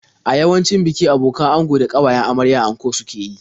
A yawancin biki abokan ango da ƙawayen amarya anko suke yi.